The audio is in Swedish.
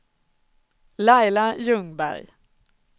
Laila Ljungberg